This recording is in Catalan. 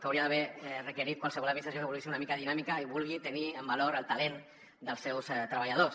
que hauria d’haver requerit qualsevol administració que vulgui ser una mica dinàmica i vulgui tenir en valor el talent dels seus treballadors